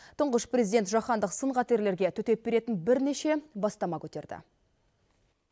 тұңғыш президент жаһандық сын қатерлерге төтеп беретін бірнеше бастама көтерді